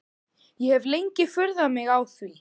Ég hef lengi furðað mig á því.